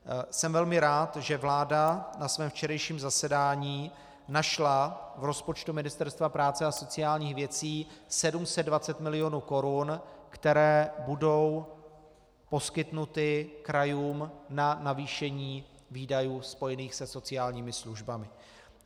Jsem velmi rád, že vláda na svém včerejším zasedání našla v rozpočtu Ministerstva práce a sociálních věcí 720 milionů korun, které budou poskytnuty krajům na navýšení výdajů spojených se sociálními službami.